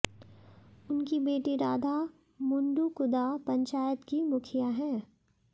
उनकी बेटी राधा मुंडू कुदा पंचायत की मुखिया हैं